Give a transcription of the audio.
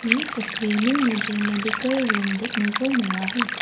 ये तस्वीर में मुझे मेडिकल रूम देखने को मिला है।